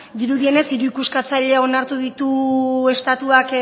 dirudienez hiru ikuskatzaile onartu ditu estatuak